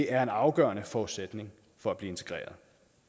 er en afgørende forudsætning for at blive integreret